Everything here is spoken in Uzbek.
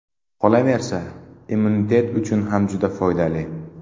Qolaversa, immunitet uchun juda ham foydali.